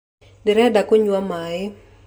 Ndĩrenda kũnywa maaĩ